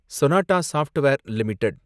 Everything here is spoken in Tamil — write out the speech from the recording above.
Sonata software limited